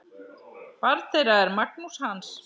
Barn þeirra er Magnús Hans.